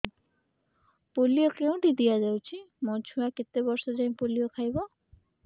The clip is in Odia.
ପୋଲିଓ କେଉଁଠି ଦିଆଯାଉଛି ମୋ ଛୁଆ କେତେ ବର୍ଷ ଯାଏଁ ପୋଲିଓ ଖାଇବ